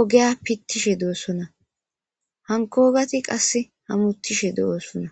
ogeya pittishe doossona hankogati qasse hamuttishe de'osona